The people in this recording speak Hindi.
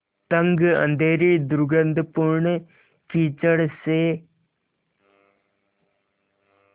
तंग अँधेरी दुर्गन्धपूर्ण कीचड़ से